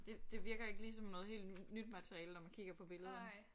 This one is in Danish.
Det det virker ikke lige som noget helt nyt materiale når man kigger på billederne